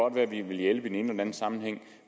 at man vil hjælpe i den anden sammenhæng